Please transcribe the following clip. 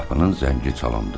Qapının zəngi çalındı.